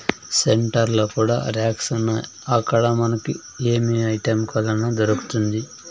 Centre లో కూడా racks ఉన్నాయి అక్కడ మనకి ఏమి ఐటం కావల్లన్న దొరుకుతుంది.